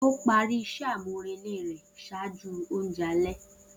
O pari iṣẹ amurele rẹ ṣaaju ounjẹ alẹ.